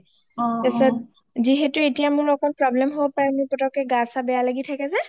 পিছত যিহেতু এতিয়া মোৰ একমান problem হব পাৰে পতকে গা চা বেয়া লাগি থাকে যে